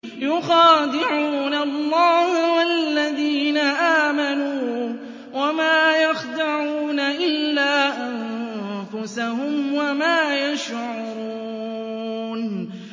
يُخَادِعُونَ اللَّهَ وَالَّذِينَ آمَنُوا وَمَا يَخْدَعُونَ إِلَّا أَنفُسَهُمْ وَمَا يَشْعُرُونَ